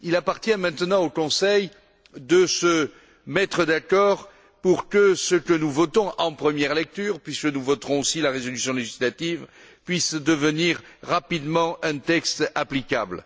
Il appartient maintenant au Conseil de se mettre d'accord pour que ce que nous votons en première lecture puisque nous voterons aussi la résolution législative puisse devenir rapidement un texte applicable.